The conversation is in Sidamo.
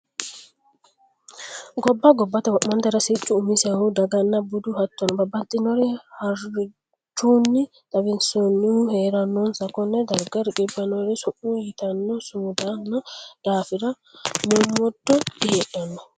Gobba gobbate wo'mantera siccu umisehu daganna bude hattono babbaxxinore haranchunni xawisanohu heeranonsa kone daga riqqibbinori summu ytenna sumundanni daafira mommodo diheedhano.